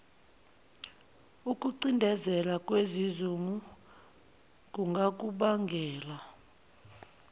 ukucindezeleka nesizungu kungakubangela